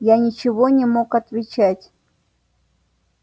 я ничего не мог отвечать